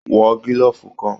Wọ gilọfu kàn!